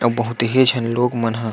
अ बहुत ही झन लोग मन ह--